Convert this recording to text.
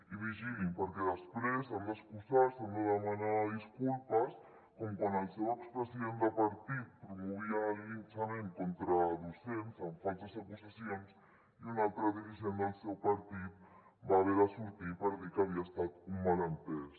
i vigilin perquè després s’han d’excusar han de demanar disculpes com quan el seu expresident de partit promovia el linxament contra docents amb falses acusacions i un altre dirigent del seu partit va haver de sortir per dir que havia estat un malentès